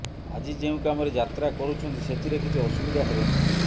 ଆଜି ଯେଉଁ କାମରେ ଯାତ୍ରା କରୁଛନ୍ତି ସେଥିରେ କିଛି ଅସୁବିଧା ହେବ ନାହିଁ